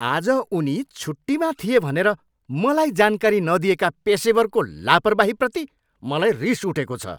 आज उनी छुट्टीमा थिए भनेर मलाई जानकारी नदिएका पेसेवरको लापरवाहीप्रति मलाई रिस उठेको छ।